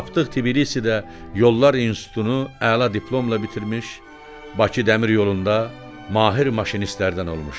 Tapdıq Tiflisdə Yollar İnstitutunu əla diplomla bitirmiş, Bakı Dəmir Yolunda mahir maşinistlərdən olmuşdu.